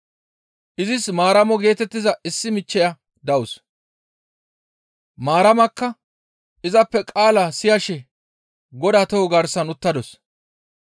Izis Maaramo geetettiza issi michcheya dawus. Maaramakka izappe qaala siyashe Godaa toho garsan uttadus.